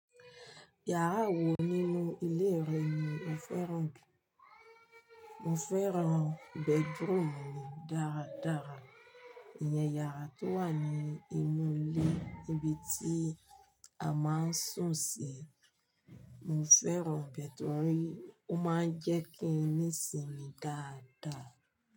Yàrá wo nínú ilé rẹ ni ó fẹ́ràn jù? Mo fẹ́ràn bedroom mi dára dára. Ìyẹn yàrá tó wà ní inú ilé ibi tí a máa ń sùn sí. Mo fẹ́ràn bedroom, ó máa ń jẹ́ kí n ní ìsinmi dáadáa.